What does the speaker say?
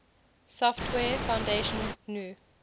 software foundation's gnu